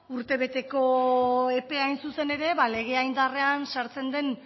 urtebeteko epea hain zuzen ere legea indarrean sartzen den